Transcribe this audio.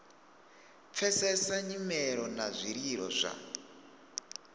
pfesesa nyimelo na zwililo zwa